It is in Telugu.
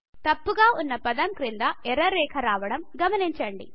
తప్పుగా వున్న పదం క్రింద ఎర్ర రేఖ రావడం గమనించండి